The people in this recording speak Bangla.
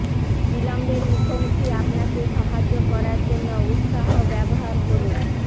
বিলম্বের মুখোমুখি আপনাকে সাহায্য করার জন্য উত্সাহ ব্যবহার করুন